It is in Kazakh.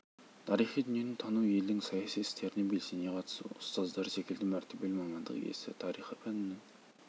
тарихи дүниені тану елдің саяси істеріне белсене қатысу ұстаздары секілді мәртебелі мамандық иесі тарих пәнінің